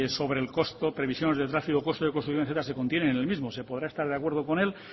sobre el costo previsiones de tráfico costo de construcción etcétera se contienen en el mismo se podrá estar de acuerdo con él